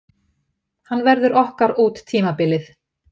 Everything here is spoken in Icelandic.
Hann verður okkar út tímabilið.